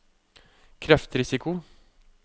kreftrisiko